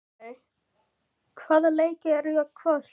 Burkney, hvaða leikir eru í kvöld?